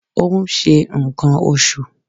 Ó ń ṣe ǹkan oṣù.